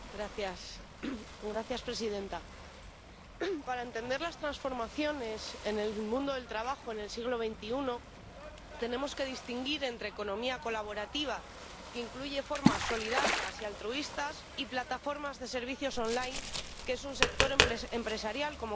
Señora presidenta, para entender las transformaciones en el mundo del trabajo en el siglo XXI tenemos que distinguir entre economía colaborativa, que incluye formas solidarias y altruistas, y plataformas de servicios en línea, que es un sector empresarial como cualquier otro.